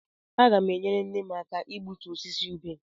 Aga m enyere nne m aka igbutu osisi ubé.